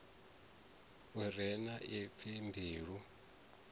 u re na ipfi mbilu